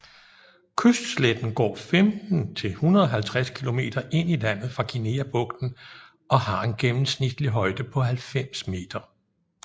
Kystsletten går 15 til 150 kilometer ind i landet fra Guineabugten og har en gennemsnitlig højde på 90 meter